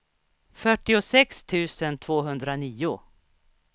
fyrtiosex tusen tvåhundranio